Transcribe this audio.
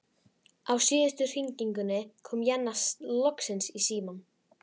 Á síðustu hringingunni kom Jenna loksins í símann.